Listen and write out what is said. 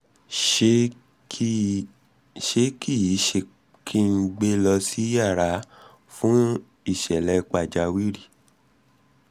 ṣé kí ṣé kí n gbe lọ sí yàrà fún ìṣẹ̀lẹ̀ pàjáwìrì?